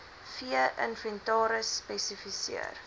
vee inventaris spesifiseer